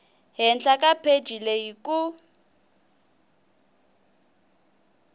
henhla ka pheji leyi ku